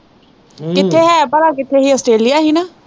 ਕਿੱਥੇ ਹੈ ਭਲਾ ਕਿੱਥੇ ਹੀ ਅਸਟ੍ਰੇਲੀਆ ਹੀ ਨਾ।